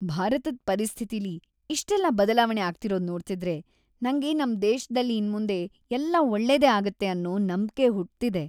ಭಾರತದ್ ಪರಿಸ್ಥಿತಿಲಿ ಇಷ್ಟೆಲ್ಲ ಬದ್ಲಾವಣೆ‌ ಆಗ್ತಿರೋದ್‌ ನೋಡ್ತಿದ್ರೆ ನಂಗೆ ನಮ್‌ ದೇಶ್ದಲ್ಲಿ ಇನ್ಮುಂದೆ ಎಲ್ಲ ಒಳ್ಳೇದೇ ಆಗತ್ತೆ ಅನ್ನೋ ನಂಬ್ಕೆ ಹುಟ್ತಿದೆ.